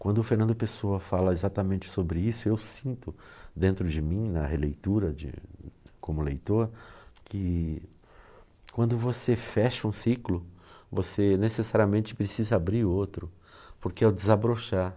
Quando o Fernando Pessoa fala exatamente sobre isso, eu sinto dentro de mim, na releitura, de como leitor, que quando você fecha um ciclo, você necessariamente precisa abrir outro, porque é o desabrochar.